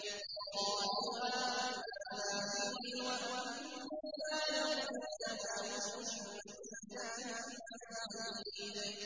وَقَالُوا آمَنَّا بِهِ وَأَنَّىٰ لَهُمُ التَّنَاوُشُ مِن مَّكَانٍ بَعِيدٍ